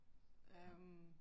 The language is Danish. Ja